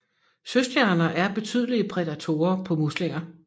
Søstjerner er betydelige prædatorer på muslinger